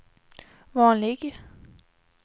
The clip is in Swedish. vanlig